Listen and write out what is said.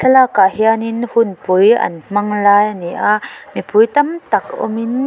park ah hianin hunpui an hmang lai a ni a mipui tam tak awmin--